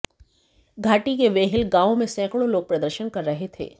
घाटी के वेहिल गांव में सैकड़ों लोग प्रदर्शन कर रहे थे